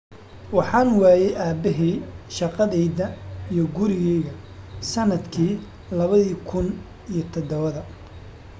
"Waxaan waayay aabahay, shaqadeyda, iyo gurigeyga sanadkii lawadhi kun iyo dadawadha."